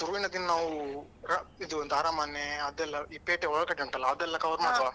ಶುರುವಿನ ದಿನಾ ನಾವು ಅಹ್ ಇದು ಎಂತ ಅರಮನೆ ಅದೆಲ್ಲಾ ಈ ಪೇಟೆ ಒಳಕಟ್ಟು ಉಂಟಲ್ಲಾ ಅದೆಲ್ಲ cover ಮಾಡುವ.